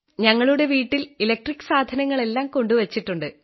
ഞങ്ങളുടെ വീട്ടിൽ ഇലക്ട്രിക് സാധനങ്ങളെല്ലാം കൊണ്ടു വച്ചിട്ടുണ്ട്